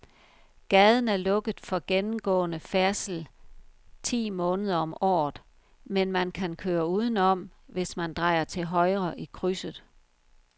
Gaden er lukket for gennemgående færdsel ti måneder om året, men man kan køre udenom, hvis man drejer til højre i krydset.